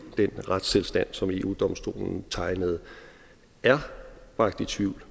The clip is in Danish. den retstilstand som eu domstolen tegnede er bragt i tvivl